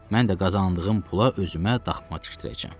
Mən də qazandığım pula özümə daxma tikdirəcəm.